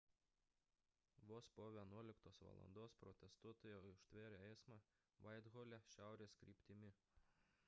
vos po 11:00 val protestuotojai užtvėrė eismą vaithole šiaurės kryptimi